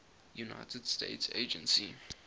united states agency